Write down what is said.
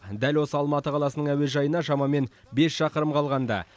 дәл осы алматы қаласының әуежайына шамамен бес шақырым қалғанда